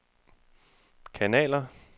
kanaler